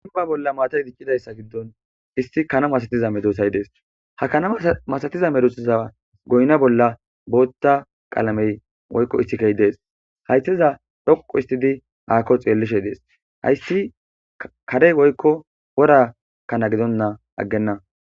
Iba bolla maata idiccidayssa giddon isti kana masatiza medosay dees ha kana masatiza merusza goyna bolla bootta qalamey oykko issikey dees haytiza dhoqu istidi aakko xeellishe dees hayssi karey woykko wora kana gidonna aggenna.